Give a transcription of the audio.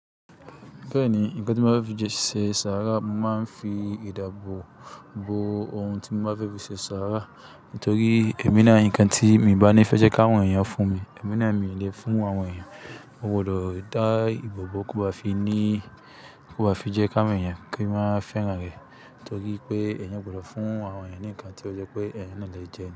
Bẹ́ẹ̀ni, ǹkan tí mo bá fẹ́ fi jẹ ṣàrá, màá fi ìdábò bo ohun tí mo bá fẹ́ fi ṣe ṣàrá. Nítorí èmi náà ǹkan tí èmi bá ní fẹ́ jẹ́ kí àwọn èèyàn fún mi, èmi náà mi lè fún àwọn èèyàn. O gbọdọ̀ dá ìbò bo kí o bá fi ní, kí o bá fi jẹ́ ká àwọn èèyàn kí wọ́n má fẹ́ran rẹ. Nítorí pé èèyàn gbọdọ̀ fún àwọn èèyàn ní ǹkan tí ó jẹ́ pé èèyàn náà lè jẹ.